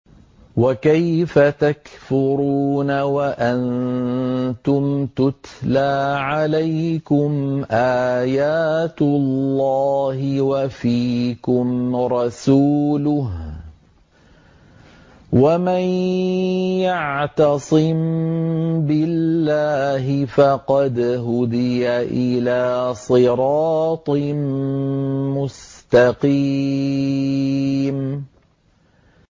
وَكَيْفَ تَكْفُرُونَ وَأَنتُمْ تُتْلَىٰ عَلَيْكُمْ آيَاتُ اللَّهِ وَفِيكُمْ رَسُولُهُ ۗ وَمَن يَعْتَصِم بِاللَّهِ فَقَدْ هُدِيَ إِلَىٰ صِرَاطٍ مُّسْتَقِيمٍ